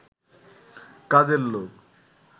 কাজের লোক